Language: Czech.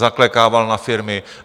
Zaklekával na firmy.